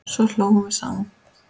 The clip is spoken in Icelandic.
Svo hlógum við saman.